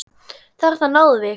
Þarna náðum við ykkur!